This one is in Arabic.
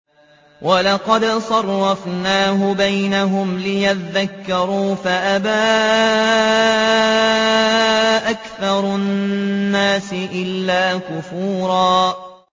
وَلَقَدْ صَرَّفْنَاهُ بَيْنَهُمْ لِيَذَّكَّرُوا فَأَبَىٰ أَكْثَرُ النَّاسِ إِلَّا كُفُورًا